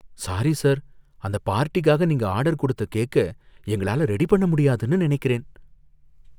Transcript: Sorry sir! அந்த பார்டிக்காக நீங்க ஆர்டர் கொடுத்த கேக்க எங்களால ரெடி பண்ண முடியாதுன்னு நினைக்கிறேன்.